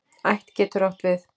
Ætt getur átt við